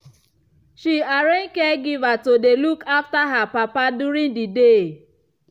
she arrange caregiver to dey look after her papa during the day.